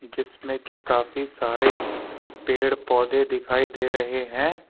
जिसमें कि काफी सारे पेड़ पौधे दिखाई दे रहे हैं।